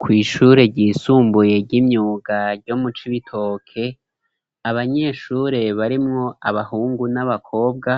Kw'ishure ryisumbuye ry'imyuga ryo mu Cibitoke, abanyeshure barimwo abahungu n'abakobwa